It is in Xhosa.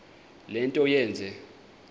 le nto yenze